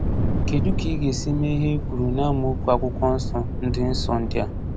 Kedụ ka ị ga-esi mee ihe e kwuru n’amaokwu Akwụkwọ Nsọ ndị Nsọ ndị a?